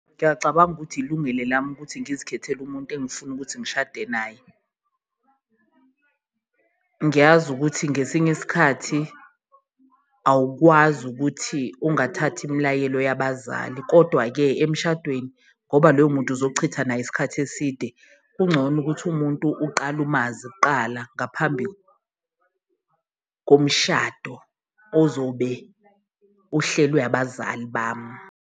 Ngiyacabanga ukuthi ilungelo lami ukuthi ngizikhethele umuntu engifuna ukuthi ngishade naye, ngiyazi ukuthi ngesinye isikhathi awukwazi ukuthi ungathathi imilayelo yabazali. Kodwa-ke emshadweni ngoba loyo muntu uzochitha naye isikhathi eside, kungcono ukuthi umuntu uqale umazi kuqala ngaphambi komshado ozobe uhlelwe abazali bami.